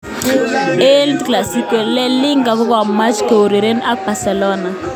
El Clasico: La Liga kokomuch koureren ak Barcelona.